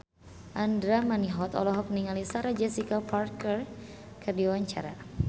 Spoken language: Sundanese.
Andra Manihot olohok ningali Sarah Jessica Parker keur diwawancara